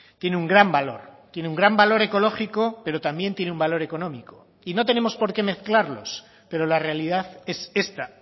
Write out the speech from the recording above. tiene un gran valor tiene un gran valor ecológico pero también tiene un valor económico y no tenemos por qué mezclarlos pero la realidad es esta